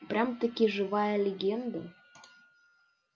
прям-таки живая легенда